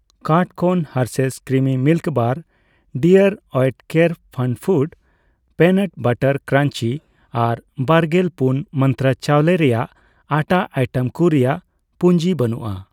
Cart ᱠᱷᱚᱱ Hershey's creamy milk bar, ᱰᱤᱟᱨᱹ ᱳᱭᱮᱴᱠᱮᱨ ᱯᱷᱟᱱᱯᱷᱩᱰᱚᱥ ᱚᱤᱱᱟᱴ ᱵᱟᱨᱟᱴ ᱠᱨᱟᱧᱡᱤ ᱟᱨ ᱵᱟᱨᱜᱮᱞ ᱯᱩᱱ ᱢᱟᱱᱛᱨᱟ ᱪᱟᱣᱞᱮ ᱨᱮᱭᱟᱜ ᱟᱴᱷᱟ ᱟᱭᱴᱮᱢ ᱠᱩ ᱨᱮᱭᱟᱜ ᱯᱩᱧᱡᱤ ᱵᱟᱹᱱᱩᱜᱼᱟ ᱾